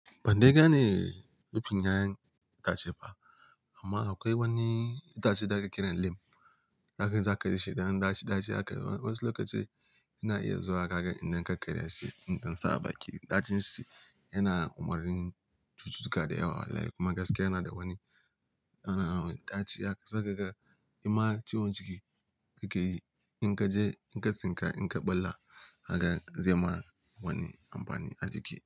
Ban dai gane rubin yayan itace ba amma akwai wani itace da aka kira lemu. Da aka zakarce shi dan daci-daci aka, wasu lokaci ina iya zuwa haka idan ka karya shi, idan sa ba ki ɗacin shi yana umarnin cututtuka da yawa. Kuma gaskiya yana da wani, yana da wani daci ya sai ka ga, ya ma ciwon ciki, ni ke yi in ka je in ka tsinka in ka ɓalla haka zai ma wani amfani a jiki.